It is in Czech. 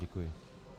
Děkuji.